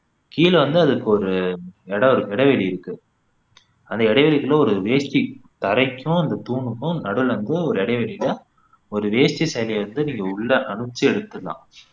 கீழ வந்து அதுக்கு ஒரு இடம் இரு இடைவெளி இருக்கு அந்த இடைவெளிக்குள்ள ஒரு வேஷ்டி தரைக்கும் அந்த தூணுக்கும் நடுவுல வந்து ஒரு இடைவெளியில ஒரு வேஷ்டி சேலைய விட்டு நீங்க உள்ள அனுப்பிச்சு எடுத்திடலாம்